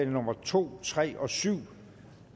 nummer to tre og syv